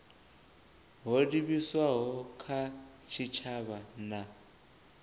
ho livhiswaho kha tshitshavha na